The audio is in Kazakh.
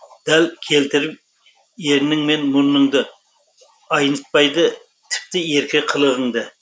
дәл келтіріп ернің мен мұрыныңды айнытпайды тіпті ерке қылығыңды